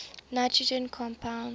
nitrogen compounds